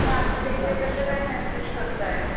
तुम्ही आतमध्ये कश्या काय माईंड फ्रेश करताय,